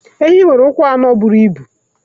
Enyí nwere ụkwụ anọ buru ibu.